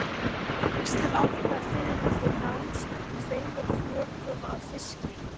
Sex til átta fiðrildi nást úr tveimur flökum af fiski.